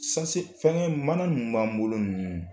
fɛnkɛ mana ninnu b'an bolo ninnu